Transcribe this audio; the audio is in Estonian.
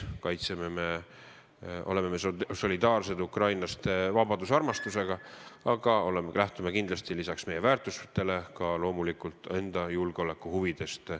Me oleme solidaarsed vabadust armastavate ukrainlastega, aga lähtume oma väärtusi kaitstes loomulikult ka enda julgeolekuhuvidest.